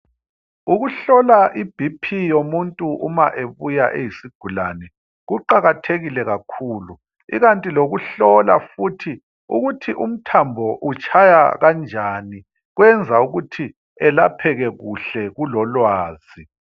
Ukuhlola iBP yomuntu uma ebuya eyisigulane. Kuqakathekile kakhulu ,ikanti lokuhlola futhi ukuthi umthambo utshaya kanjani kwenza ukuthi elapheke kuhle kulolwazi.